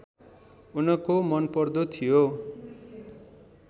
उनको मनपर्दो थियो